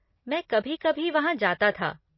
मैं कभी कभी वहाँ जाता था।